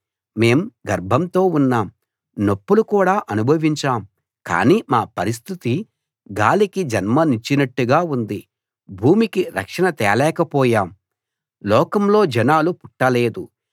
మేం గర్భంతో ఉన్నాం నొప్పులు కూడా అనుభవించాం కానీ మా పరిస్టితి గాలికి జన్మనిచ్చినట్టు ఉంది భూమికి రక్షణ తేలేక పోయాం లోకంలో జనాలు పుట్టలేదు